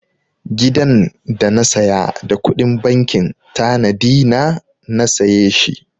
Gidan da na saya da kuɗin bankin tanadi na na saye shi.